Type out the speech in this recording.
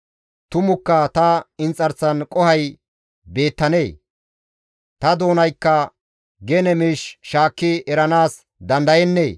Tumukka ta inxarsan qohoy beettanee? Ta doonaykka gene miish shaakki eranaas dandayennee?